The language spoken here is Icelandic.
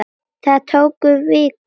Það tók viku.